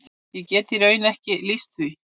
Ég get í raun ekki lýst því.